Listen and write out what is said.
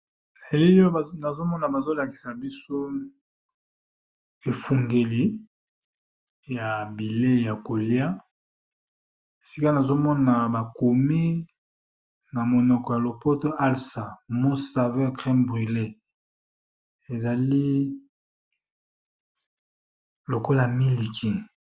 Na elili oyo namoni bazolakisa biso efungeli ya bileyi ya koliya esika nazomona ba komi na monoko ya lopoto alsa ezali lokola miliki.